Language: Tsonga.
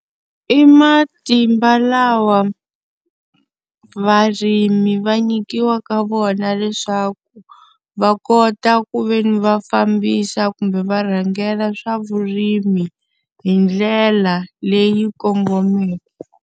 I matimba lawa varimi va nyikiwa ka wona leswaku va kota ku ve ni va fambisa kumbe va rhangela swa vurimi, hi ndlela leyi kongomeke.